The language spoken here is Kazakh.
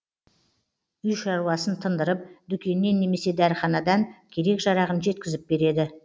үй шаруасын тындырып дүкеннен немесе дәріханадан керек жарағын жеткізіп береді